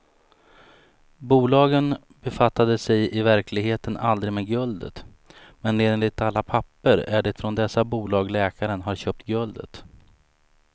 Bolagen befattade sig i verkligheten aldrig med guldet, men enligt alla papper är det från dessa bolag läkaren har köpt guldet.